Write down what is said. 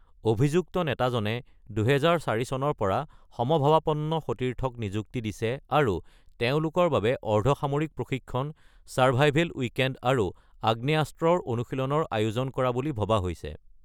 অভিযুক্ত নেতাজনে ২০০৪ চনৰ পৰা সমভাবাপন্ন সতীৰ্থক নিযুক্তি দিছে আৰু তেওঁলোকৰ বাবে অৰ্ধসামৰিক প্ৰশিক্ষণ, ছাৰভাইভেল উইকেণ্ড আৰু আগ্নেয়াস্ত্ৰৰ অনুশীলনৰ আয়োজন কৰা বুলি ভবা হৈছে।